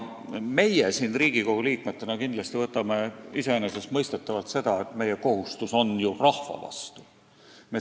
Meie Riigikogu liikmetena kindlasti peame iseenesestmõistetavaks, et meil on kohustus rahva vastu.